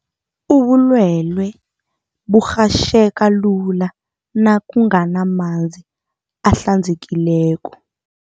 Ubulwele burhatjheka lula nakunganamanzi ahlanzekileko.